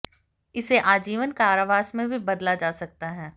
इसे आजीवन कारावास में भी बदला जा सकता है